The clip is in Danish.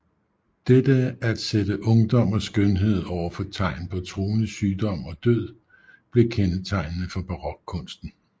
Dette at sætte ungdom og skønhed over for tegn på truende sygdom og død blev kendetegnende for barokkunsten